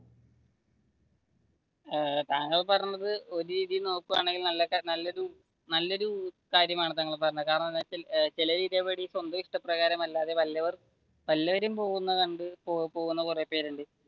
ഏർ താങ്കൾ പറഞ്ഞത് ഒരു രീതിയിൽ നോക്കുവാണെങ്കിൽ നല്ലനല്ലൊരു കാര്യമാണ് താങ്കൾ പറഞ്ഞത് കാരണമെന്തെന്ന് വെച്ചാൽ ചിലർ ഇതേ പടി സ്വന്തം ഇഷ്ടപ്രകാരം അല്ലാതെ വല്ലവർ വല്ലവരും പോകുന്നത് കണ്ടു പോകുന്ന കുറെ പേര് ഉണ്ട്.